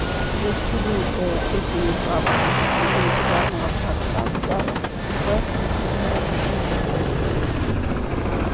застигнутая этими словами посреди изрядного глотка чая перси чуть не захлебнулся